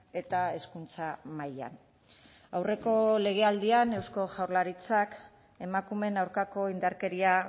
eta hezkuntza mailan aurreko legealdian eusko jaurlaritzak emakumeen aurkako indarkeria